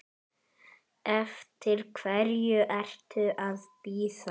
Eftir hverju ertu að bíða!